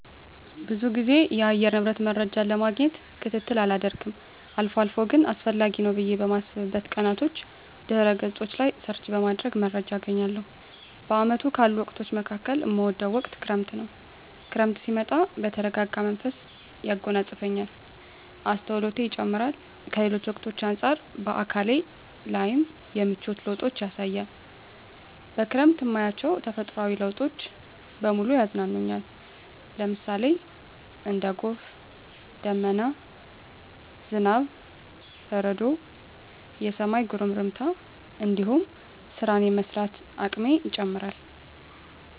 ብዙ ግዜ የአየር ንብረት መረጃን ለማግኘት ክትትል አላደርግም አልፎ አልፎ ግን አስፈላጊ ነው ብየ በማስብበት ቀናቶች ድህረ ገጾች ላይ ሰርች በማድረግ መረጃ አገኛለሁ። በአመቱ ካሉ ወቅቶች መካከል እምወደው ወቅት ክረምትን ነው። ክረምት ሲመጣ የተረጋጋ መንፈስ ያጎናጽፈኛል፣ አስተውሎቴ ይጨምራር፣ ከሌሎች ወቅቶች አንጻር በአካሌ ላይም የምቿት ለውጦችን ያሳያል፣ በክረምት እማያቸው ተፈጥሮአዊ ለውጦች በሙሉ ያዝናኑኛል ለምሳሌ:- እንደ ጎርፍ፣ ደመና፣ ዝናብ፣ በረዶ፣ የሰማይ ጉርምርምታ እንዲሁም ስራን የመስራት አቅሜ ይጨምራር